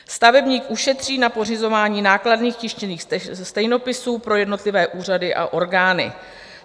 Stavebník ušetří na pořizování nákladných tištěných stejnopisů pro jednotlivé úřady a orgány.